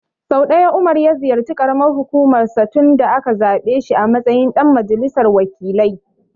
Sau ɗaya Umar ya ziyarci ƙaramar hukumar sa tun da aka zaɓe shi a matsayin ɗan majalisar wakilai.